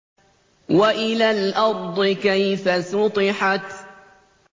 وَإِلَى الْأَرْضِ كَيْفَ سُطِحَتْ